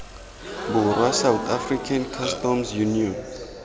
borwa south african customs union